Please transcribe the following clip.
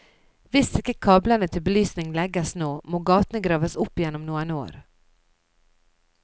Hvis ikke kablene til belysningen legges nå, må gatene graves opp igjen om noen år.